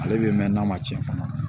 Ale bɛ mɛn n'a ma tiɲɛ fana